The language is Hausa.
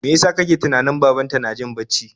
Mai yasa ka ke tunanin babanta na jin bacci?